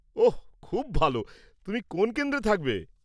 ওঃ, খুব ভালো! তুমি কোন কেন্দ্রে থাকবে?